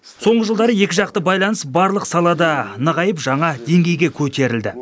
соңғы жылдары екіжақты байланыс барлық салада нығайып жаңа деңгейге көтерілді